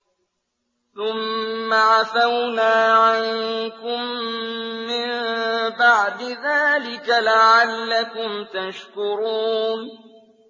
ثُمَّ عَفَوْنَا عَنكُم مِّن بَعْدِ ذَٰلِكَ لَعَلَّكُمْ تَشْكُرُونَ